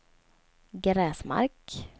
Gräsmark